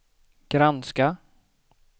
granska